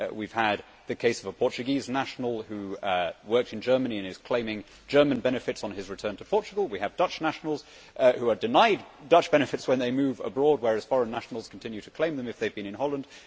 We have had the case of a Portuguese national who worked in Germany and is claiming German benefits on his return to Portugal, and we have Dutch nationals who are denied Dutch benefits when they move abroad, whereas foreign nationals continue to claim them if they have been in Holland.